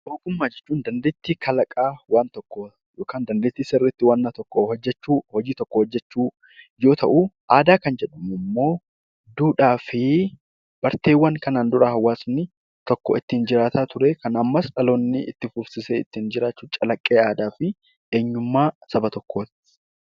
Ogummaa jechuun dandeettii kalaqaa waan tokkoo yookaan dandeettii waanna tokko sirriitti hojjechuu, hojii tokko hojjechuu yoo ta'u aadaa jechuun immoo duudhaa fi barteewwan kanaan dura hawaasni tokko ittiin jiraataa ture kan ammas dhaloonni itti fufsiisee ittiin jiraatu calaqqee aadaa fi eenyummaa saba tokkooti.